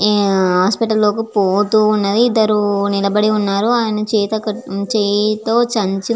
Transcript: ఆహ్ హాస్పిటల్ లోకి పోతు వున్నది. ఇదరు నిలబడి వున్నారు. అయినా చేత చేయితో సంచి --